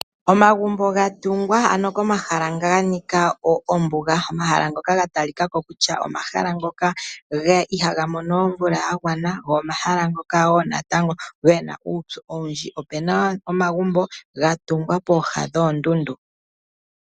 Omagumbo ga tungwa ano komahala nga ganika ombuga omahala ngoka gatalika ko kutya omahala ngoka ihaaga mono omvula yagwana go omahala wo natango gena uupyu owundji. Opena wo omagumbo ga tungwa pooha noondundu.